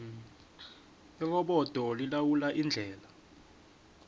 irobodo lilawula indlela